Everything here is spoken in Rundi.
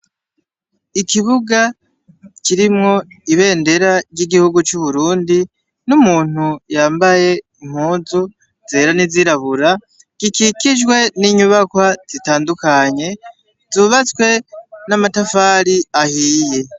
Ikibuga kirimwo ibendera ry'igihugu c'Uburundi, n'umuntu yambaye impunzu zera n'izirabura, gikikijwe n'inyubakwa zitandukanye, zubatswe n'amatafari ahiye.